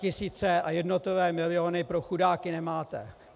Statisíce a jednotlivé miliony pro chudáky nemáte.